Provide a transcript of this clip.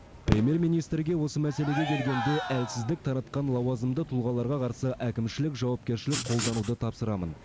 премьер министрге осы мәселеге келгенде әлсіздік таратқан лауазымды тұлғаларға қарсы әкімшілік жауапкершілік қолдануды тапсырамын